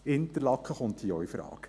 Interlaken kommt hier auch infrage.